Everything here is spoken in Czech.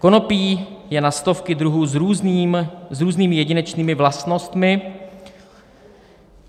Konopí je na stovky druhů s různými jedinečnými vlastnostmi.